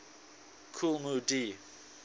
kool moe dee